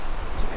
Maşın.